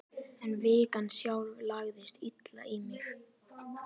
En vikan sjálf lagðist illa í mig.